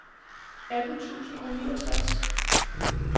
atten tusind og niogtres